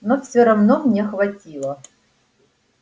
но всё равно мне хватило